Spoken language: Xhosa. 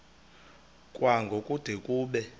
kwango kude kube